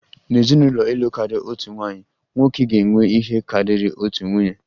N'ezinụlọ ịlụ karịa otu nwaanyị, nwoke ga-enwe ihe karịrị otu nwunye